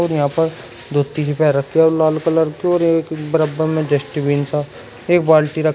यहां पर दो तीन लाल कलर के और एक बराबर में डस्टबिन सा एक बाल्टी रख--